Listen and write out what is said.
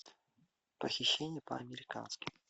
похищение по американски